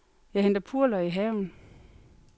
Jeg henter purløg i haven.